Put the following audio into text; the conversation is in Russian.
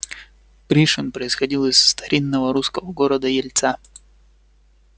пришвин происходил из старинного русского города ельца